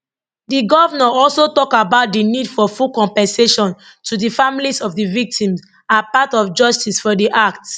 di governor also tok about di need for full compensation to di families of di victims as part of justice for di act